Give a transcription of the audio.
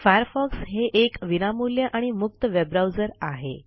Firefox हे एक विनामूल्य आणि मुक्त वेबब्राऊजर आहे